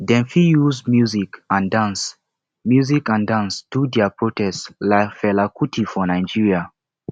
dem fit use music and dance music and dance do their protest like fela kuti for nigeria